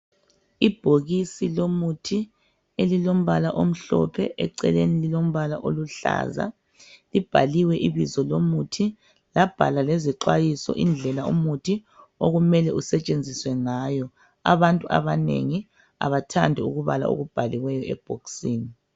Ibhokisi lomuthi elilombala omhlophe eceleni lilombala oluhlaza, libhaliwe ibizo lomuthi labhalwa lezixwayiso indlela umuthi okumele usetshenziswe ngayo abantu abanengi abathandi ukubala pokubhaliweyo ebhokisini.